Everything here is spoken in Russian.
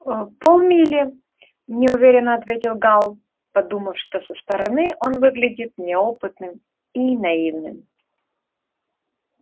ээ пол мили неуверенно ответил гал подумав что со стороны он выглядит неопытным и наивным